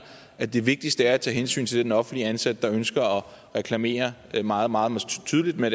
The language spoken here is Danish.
at det vigtigste er at tage hensyn til den offentligt ansatte der ønsker at reklamere meget meget tydeligt med